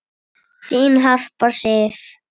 Þín Harpa Sif.